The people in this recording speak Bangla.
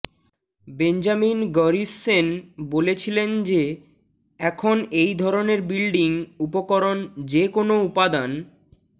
বেঞ্জামিন গরিসসেন বলেছিলেন যে এখন এই ধরনের বিল্ডিং উপকরণ যে কোনও উপাদান